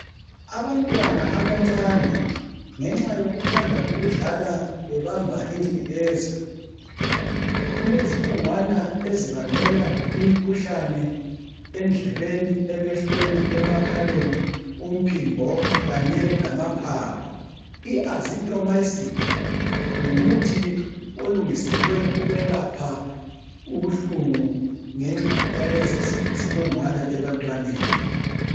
Abantwana abancane ngenxa yokuthanda ukudlala bebamba ingcekeza kulezibungwana ezibangela imikhuhlane endlebeni, emehlweni, emakhaleni, umphimbo khanye lamaphaphu. iazithromycin ngumuthi olungeselwe ukwelapha ubuhlungu ngenxa yalezi zibungwana ebantwaneni.